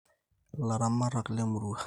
illaramatak lemurrua